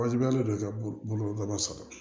Wajibiyalen don i ka boloda